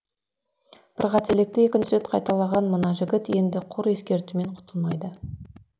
бір қателікті екінші рет қайталаған мына жігіт енді құр ескертумен құтылмайды